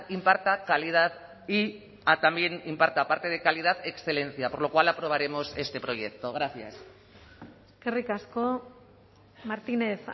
imparta calidad y también imparta aparte de calidad excelencia por lo cual aprobaremos este proyecto gracias eskerrik asko martínez